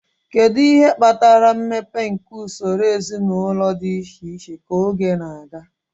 Kedu ihe kpatara mmepe nke usoro ezinụlọ dị iche iche ka oge na-aga?